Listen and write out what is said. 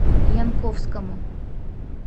янковскому